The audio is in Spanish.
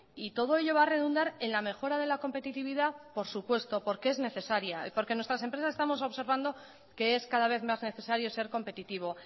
y todo ello va a redundar en la mejora de la competitividad por supuesto porque es necesaria y porque en nuestras empresas estamos observando que es cada vez más necesario ser competitivo